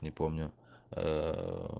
не помню ээ